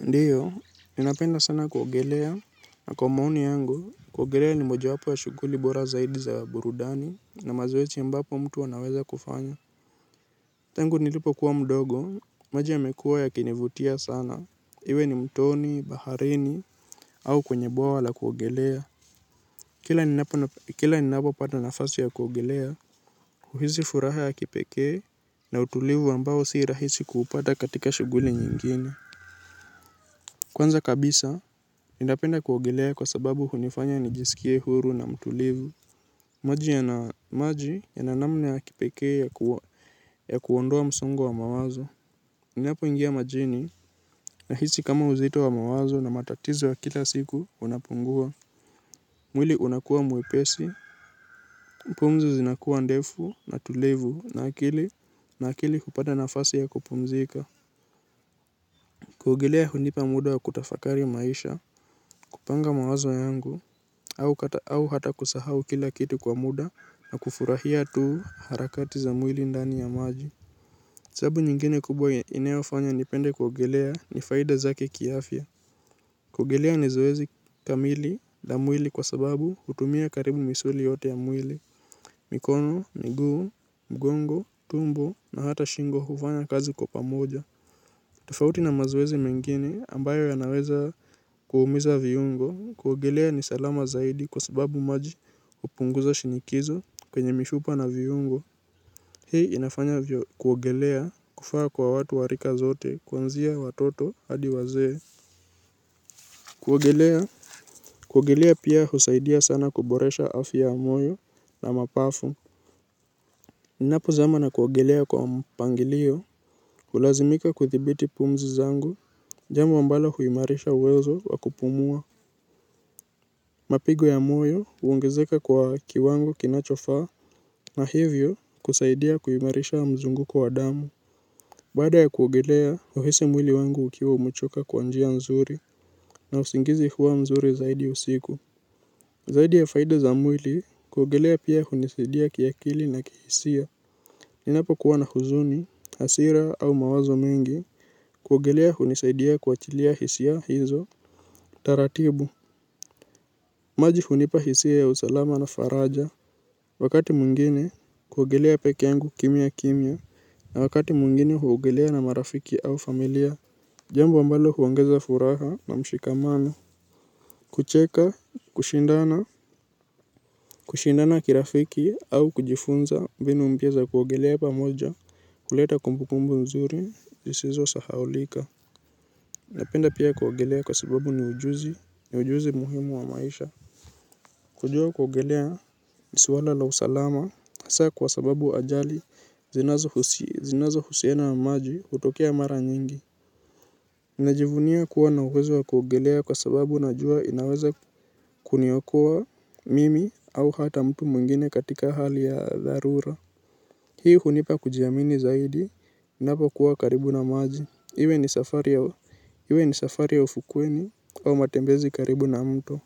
Ndiyo, ninapenda sana kuogelea, na kwa maoni yangu, kuogelea ni moja wapo ya shughuli bora zaidi za burudani, na mazoezi ambapo mtu anaweza kufanya. Tangu nilipokuwa mdogo, maji yamekuwa yakinivutia sana, iwe ni mtoni, baharini, au kwenye boa la kuogelea. Kila ninapopata nafasi ya kuogelea, huhisi furaha ya kipekee, na utulivu ambao si rahisi kuupata katika shughuli nyingine. Kwanza kabisa, ninapenda kuogelea kwa sababu hunifanya nijisikie huru na mtulivu. Maji yana maji yana namna ya kipekee ya kuondoa msongo wa mawazo. Niniapoingia majini nahisi kama uzito wa mawazo na matatizo wa kila siku unapungua. Mwili unakuwa mwepesi, pumzi zinakuwa ndefu na tulivu na akili hupata nafasi ya kupumzika. Kuogelea hunipa muda wa kutafakari maisha, kupanga mawazo yangu, au au hata kusahau kila kitu kwa muda na kufurahia tu harakati za mwili ndani ya maji sababu nyingine kubwa inayofanya nipende kuogelea ni faida zake kiafya. Kuogelea ni zoezi kamili na mwili kwa sababu hutumia karibu misuli yote ya mwili. Mikono, miguu, mgongo, tumbo na hata shingo hufanya kazi kwa pamoja. Tofauti na mazoezi mengine ambayo yanaweza kuumiza viungo kuogelea ni salama zaidi kwa sababu maji hupunguza shinikizo kwenye mifupa na viungo. Hii inafanya vyo kuogelea kufaa kwa watu wa rika zote kuanzia watoto hadi wazee. Kuogelea kuogelea pia husaidia sana kuboresha afya ya moyo na mapafu. Ninapozama na kuogelea kwa mpangilio hulazimika kuthibiti pumzi zangu. Jambo ambalo huimarisha uwezo wa kupumua. Mapigo ya moyo huongezeka kwa kiwango kinachofaa. Na hivyo kusaidia kuimarisha mzunguko wa damu. Baada ya kuogelea huhisi mwili wangu ukiwa umechoka kwa njia nzuri. Na usingizi huwa mzuri zaidi usiku. Zaidi ya faida za mwili kuogelea pia hunisidia kiakili na kihisia. Ninapokuwa na huzuni, hasira au mawazo mingi. Kuogelea hunisidia kuachilia hisia hizo. Taratibu. Maji hunipa hisia ya usalama na faraja. Wakati mwingine kuogelea peke yangu kimya kimya na wakati mwingine huogelea na marafiki au familia. Jambo ambalo huongeza furaha na mshikamano. Kucheka, kushindana kushindana kirafiki au kujifunza mbinu mpya za kuogelea pamoja huleta kumbukumbu mzuri zisizo sahaulika. Napenda pia kuogelea kwa sababu ni ujuzi, ni ujuzi muhimu wa maisha. Kujua kuogelea ni swala la usalama hasa kwa sababu ajali zinazohusiana na maji hutokea mara nyingi. Najivunia kuwa na uwezo kuogelea kwa sababu najua inaweza kuniokoa mimi au hata mtu mwingine katika hali ya dharura. Hii hunipa kujiamini zaidi ninapokuwa karibu na maji iwe ni safari ya ufukweni au matembezi karibu na mto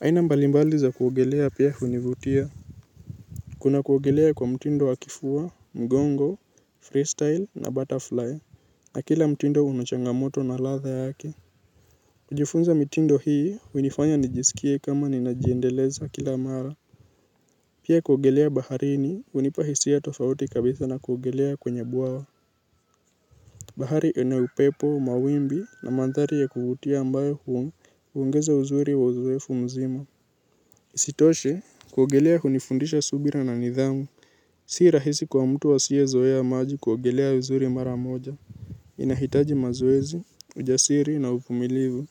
aina mbalimbali za kuogelea pia hunivutia. Kuna kuogelea kwa mtindo wa kifua, mgongo, freestyle na butterfly. Na kila mtindo una changamoto na ladha yake. Kujifunza mitindo hii, hunifanya nijisikie kama ninajiendeleza kila mara. Pia kuogelea baharini, hunipa hisia tofauti kabisa na kuogelea kwenye bwawa. Bahari ina upepo, mawimbi na mandhari ya kuvutia ambayo huongeza uzuri wa uzoefu mzima. Isitoshe kuogelea hunifundisha subira na nidhamu. Si rahisi kwa mtu asiyezoea maji kuogelea vizuri mara moja. Inahitaji mazoezi, ujasiri na uvumilivu.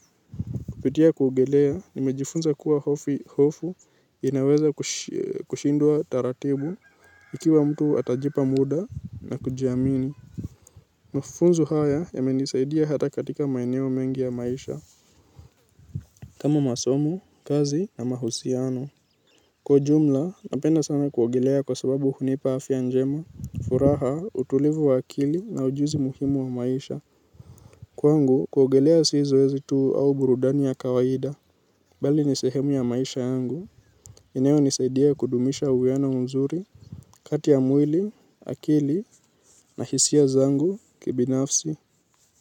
Kupitia kuogelea nimejifunza kuwa hofu inaweza kushindwa taratibu ikiwa mtu atajipa muda na kujiamini. Mafunzo haya yamenisaidia hata katika maeneo mengi ya maisha. Kama masomo, kazi na mahusiano. Kwa ujumla, napenda sana kuogelea kwa sababu hunipa afya njema furaha utulivu wa akili na ujuzi muhimu wa maisha. Kwangu, kuogelea si zoezi tu au burudani ya kawaida. Bali ni sehemu ya maisha yangu. Inayonisaidia kudumisha uwiano mzuri kati ya mwili, akili na hisia zangu kibinafsi.